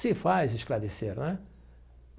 Se faz esclarecer, né?